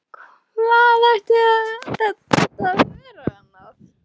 Hvað ætti þetta að vera annað?